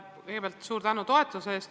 Kõigepealt suur tänu toetuse eest!